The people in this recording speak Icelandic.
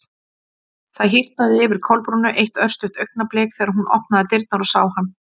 Það hýrnaði yfir Kolbrúnu eitt örstutt augnablik þegar hún opnaði dyrnar og sá hann.